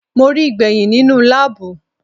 Mo ríi gbẹ̀hìn nínú láàbù.